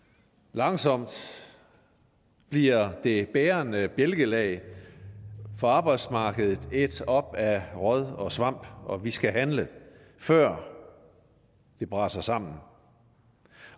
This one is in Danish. langsomt bliver det bærende bjælkelag for arbejdsmarkedet ædt op af råd og svamp og vi skal handle før det braser sammen